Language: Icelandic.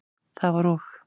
Það var og.